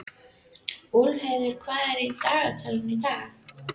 Úlfheiður, hvað er í dagatalinu í dag?